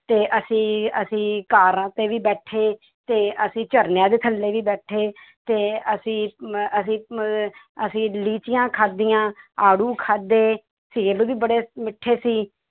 ਤੇ ਅਸੀਂ ਅਸੀਂ ਕਾਰਾਂ ਤੇ ਵੀ ਬੈਠੇ ਤੇ ਅਸੀਂ ਝਰਨਿਆਂ ਦੇ ਥੱਲੇ ਵੀ ਬੈਠੇ ਤੇ ਅਸੀਂ ਮੈਂ ਅਸੀਂ ਮ~ ਅਸੀਂ ਲੀਚੀਆਂ ਖਾਧੀਆਂ, ਆੜੂ ਖਾਧੇ, ਸੇਬ ਵੀ ਬੜੇ ਮਿੱਠੇ ਸੀ